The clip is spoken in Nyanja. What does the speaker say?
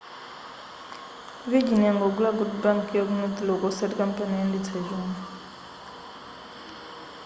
virgin yangogula good bank' yaku north rock osati kampani yoyendetsa chuma